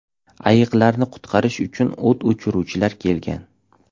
Ayiqlarni qutqarish uchu o‘t o‘chiruvchilar kelgan.